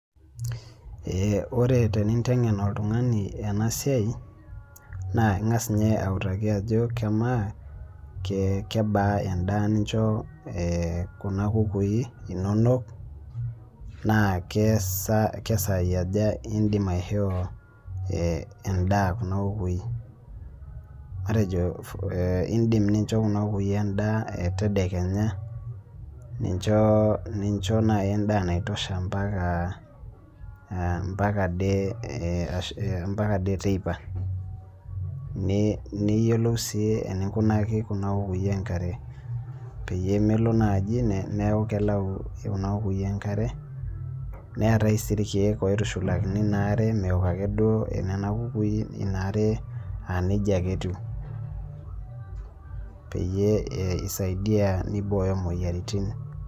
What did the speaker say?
Ore teninteng'en oltung'ani enasiai, naa ing'as inye augaki ajo kemaa kebaa endaa nincho kuna kukui inonok, na kesai aja idim aishoo endaa kuna kukui. Matejo idim nincho kuna kukui endaa tedekenya, nincho nai endaa naitosha mpaka ade teipa. Niyiolou si eninkunaki kuna kukui enkare. Peyie melo naji neku kelau kuna kukui enkare, neetae si irkeek oitushulakini naare meok akeduo nena kukui inaare anejia ake etiu, peyie isaidia nibooyo moyiaritin.